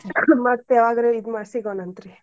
ಮತ್ತ್ ಯಾವಾಗಾರ್ ಇದ್ ಮಾಡಿ ಸಿಗೋಣಾಂತ್ರೀ.